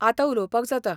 आतां उलोवपाक जाता.